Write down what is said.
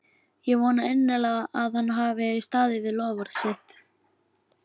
Ég vona innilega að hann hafi staðið við loforð sitt.